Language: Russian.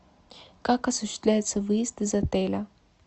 как осуществляется выезд из отеля